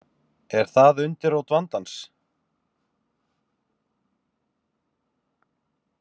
Er það undirrót vandans?